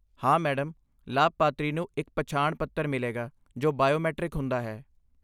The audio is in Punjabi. ਹਾਂ, ਮੈਡਮ! ਲਾਭਪਾਤਰੀ ਨੂੰ ਇੱਕ ਪਛਾਣ ਪੱਤਰ ਮਿਲੇਗਾ ਜੋ ਬਾਇਓਮੈਟ੍ਰਿਕ ਹੁੰਦਾ ਹੈ।